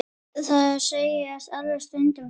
Þeir segjast alveg stundum slást.